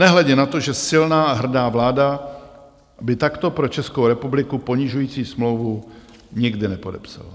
Nehledě na to, že silná a hrdá vláda by takto pro Českou republiku ponižující smlouvu nikdy nepodepsala.